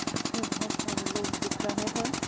इसमें बहोत सारे लोग दिख रहे हैं।